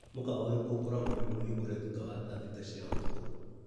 Mũkawa ũrĩkũ ũkoragwo wĩ mũhingũre thutha wa thaa thita cia ũtukũ ?